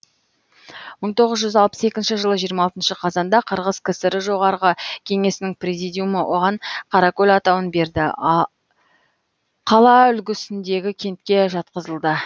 мың тоғыз жүз алпыс екінші жылы жиырма алтыншы қазанда қырғыз кср жоғарғы кеңесінің президиумы оған қаракөл атауын берді қала үлгісіндегі кентке жатқызылды